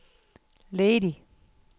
ledig